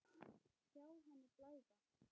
Sjá henni blæða.